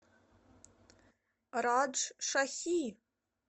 раджшахи